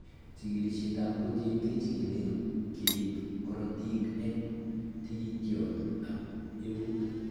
Chigilisietab protein kechigili keib korotik en tikitiot ab eut.